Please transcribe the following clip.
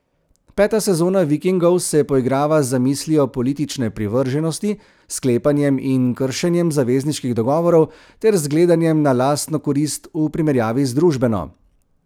Peta sezona Vikingov se poigrava z zamislijo politične privrženosti, sklepanjem in kršenjem zavezniških dogovorov ter z gledanjem na lastno korist v primerjavi z družbeno.